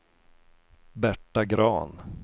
Berta Grahn